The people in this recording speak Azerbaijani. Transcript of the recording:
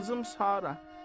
Qızım Sara.